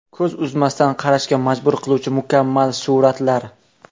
Ko‘z uzmasdan qarashga majbur qiluvchi mukammal suratlar.